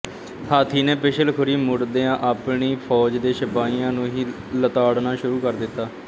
ਹਾਥੀ ਨੇ ਪਿਛਲਖੁਰੀਂ ਮੁੜਦਿਆਂ ਆਪਣੀ ਫੌਜ ਦੇ ਸਿਪਾਹੀਆਂ ਨੂੰ ਹੀ ਲਤਾੜਨਾ ਸ਼ੁਰੂ ਕਰ ਦਿੱਤਾ